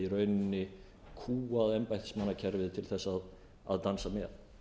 í rauninni kúgað embættismannakerfið til þess að dansa með